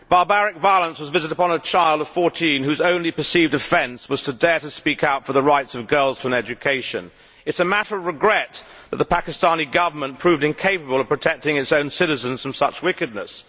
Barbaric violence was visited upon a child of 14, whose only perceived offence was to dare to speak out for the rights of girls to an education. It is a matter of regret that the Pakistan Government proved incapable of protecting its own citizens from such wickedness.